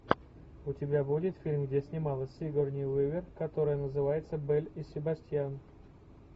у тебя будет фильм где снималась сигурни уивер который называется белль и себастьян